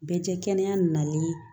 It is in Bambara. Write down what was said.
Bɛɛ cɛ kɛnɛya nalen